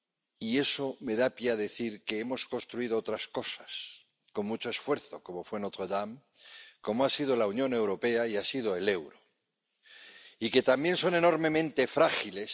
Y eso me da pie a decir que hemos construido otras cosas con mucho esfuerzo, como fue Notre Dame, como ha sido la Unión Europea y ha sido el euro, y que también son enormemente frágiles